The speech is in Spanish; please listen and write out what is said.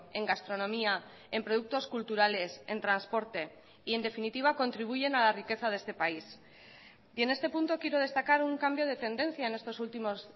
en gastronomía en productos culturales en transporte y en definitiva contribuyen a la riqueza de este país y en este punto quiero destacar un cambio de tendencia en estos últimos